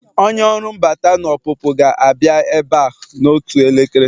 Onye ọrụ mbata na ọpụpụ ga-abịa ebe a n'otu elekere